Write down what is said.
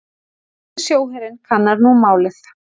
Danski sjóherinn kannar nú málið